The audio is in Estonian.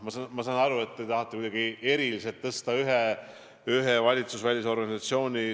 Ma saan aru, et te tahate kuidagi eriliselt tuua välja ühe valitsusvälise organisatsiooni.